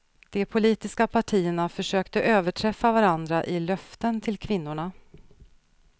De politiska partierna försökte överträffa varandra i löften till kvinnorna.